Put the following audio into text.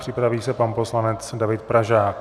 Připraví se pan poslanec David Pražák.